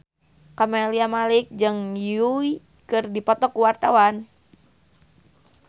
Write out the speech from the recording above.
Camelia Malik jeung Yui keur dipoto ku wartawan